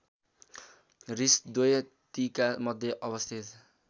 हृषद्वतीका मध्य अवस्थित